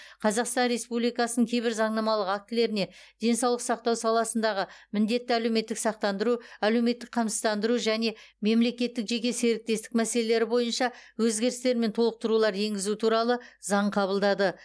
қазақстан республикасының кейбір заңнамалық актілеріне денсаулық сақтау саласындағы міндетті әлеуметтік сақтандыру әлеуметтік қамсыздандыру және мемлекеттік жеке серіктестік мәселелері бойынша өзгерістер мен толықтырулар енгізу туралы заң қабылдады